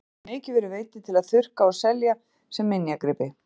Þeir hafa mikið verið veiddir til að þurrka og selja sem minjagripi.